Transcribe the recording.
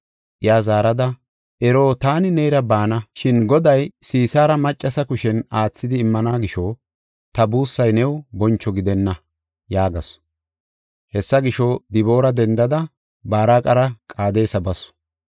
Iya zaarada, “Ero, taani neera baana; shin Goday Sisaara maccasa kushen aathidi immana gisho ta buussay new boncho gidenna” yaagasu. Hessa gisho Diboora dendada, Baaraqara Qaadesa basu.